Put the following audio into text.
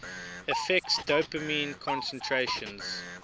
affects dopamine concentrations